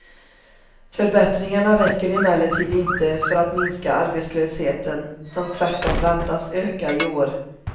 Förbättringarna räcker emellertid inte för att minska arbetslösheten, som tvärtom väntas öka i år.